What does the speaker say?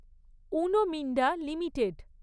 Uno Minda limited